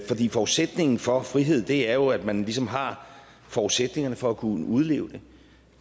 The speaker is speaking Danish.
forudsætningen for frihed er jo at man ligesom har forudsætningerne for at kunne udleve den